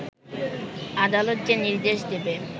আদালত যে নির্দেশ দেবে